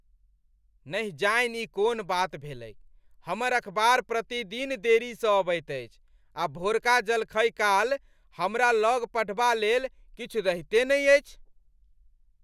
नहि जानि ई कोन बात भेलैक! हमर अखबार प्रतिदिन देरीसँ अबैत अछि आ भोरका जलखैकाल हमरा लग पढ़बालेल किछु रहिते नहि अछि।